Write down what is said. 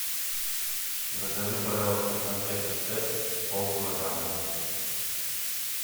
закажи пожалуйста конфеты степ пол килограмма